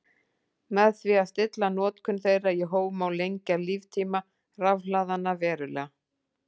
Með því að stilla notkun þeirra í hóf má lengja líftíma rafhlaðanna verulega.